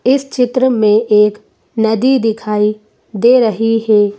इस चित्र में एक नदी दिखाई दे रही है।